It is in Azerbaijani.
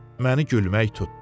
Məni gülmək tutdu.